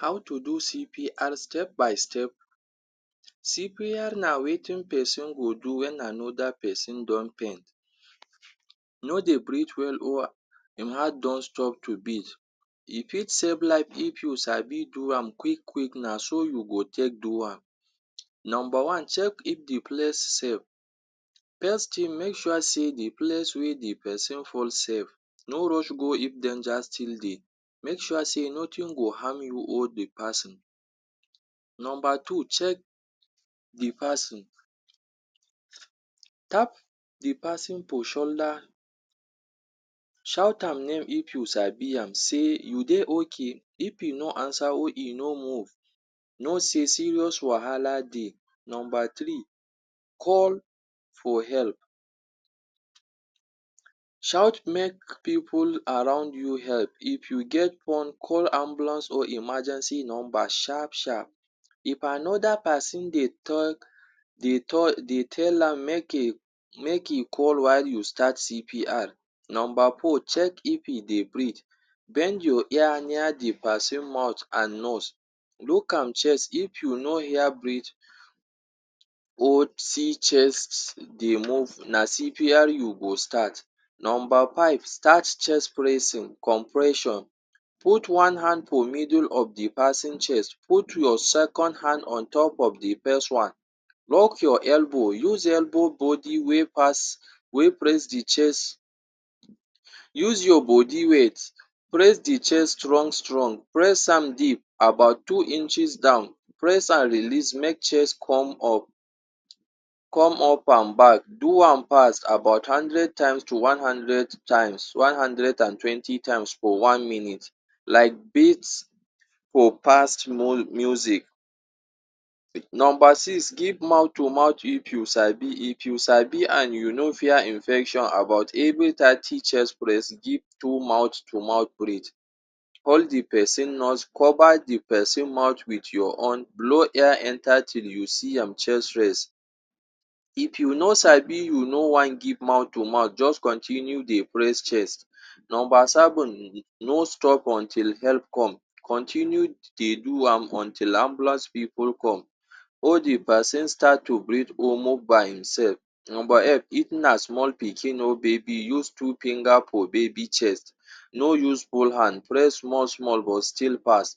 How to do CPR step by step. CPR na wetin person go do wen another person don faint, no dey breathe well or im heart don stop to beat. E fit save life if you sabi do am quick quick na so you go take do am. Number one, check if de place safe. First thing make sure sey de place wey de person fall safe, no rush go if danger still dey, make sure sey nothing go harm you or de person. Number two, check de person. Tap de person for shoulder, shout am name if you sabi am say, "you dey ok", if im no answer or im no move, know say serious wahala dey. Number three, call for help. Shout make pipu around you help. If you get phone, call ambulance or emergency number sharp sharp. If another person dey talk dey tell dey tell am make e make e call why talk why you start CPR. Number four, check if im dey breathe. Bend your ear near de person mouth and nose. Look am chest, if you no hear breathe or see chest dey move na CPR you go start. Number five, start chest pressing compression. Put one hand for middle of de person chest, put your second hand on top of de first one, lock your elbow, use elbow body wey pass wey press de chest, use your body weight press de chest strong strong, press am deep about two inches down, press am release make chest come up come up and back, do am fast about hundred times to one hundred times one hundred and twenty times for one minute like beat for fast music. Number six, give mouth to mouth if you sabi. If you sabi and you no fear infection about any give mouth to mouth breathe. Hold the person nose, cover de person mouth wit your own, blow air enter till you see im chest rise. If you no sabi you no wan give mouth to mouth just continue dey press chest. Number seven, no stop until help come. Continue dey do am until ambulance pipu come or de person start to breathe or move by im self. Number eight, if na small pikin or baby, use two finger for baby chest, no use all hand press small small but still fast.